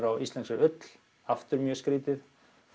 á íslenskri ull aftur mjög skrítið